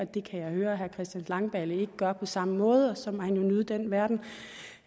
det kan jeg høre at herre christian langballe ikke gør på samme måde og så må han jo nyde den verden